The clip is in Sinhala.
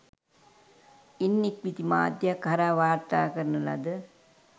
ඉන් ඉක්බිති මාධ්‍යයක් හරහා වාර්තා කරන ලද